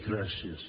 gràcies